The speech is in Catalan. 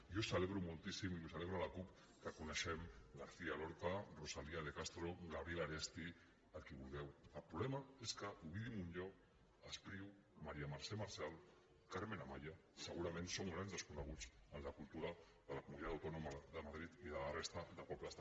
jo celebro moltíssim i ho celebra la cup que coneguem garcía lorca rosalía de castro gabriel aresti a qui vulgueu el problema és que ovidi montllor espriu maria mercè marçal carmen amaya segurament són grans desconeguts en la cultura de la comunitat autònoma de madrid i de la resta de pobles